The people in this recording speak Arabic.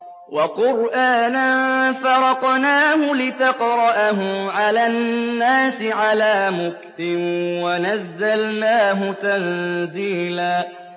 وَقُرْآنًا فَرَقْنَاهُ لِتَقْرَأَهُ عَلَى النَّاسِ عَلَىٰ مُكْثٍ وَنَزَّلْنَاهُ تَنزِيلًا